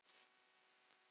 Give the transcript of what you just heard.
Rétt rautt spjald?